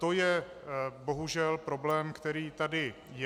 To je bohužel problém, který tady je.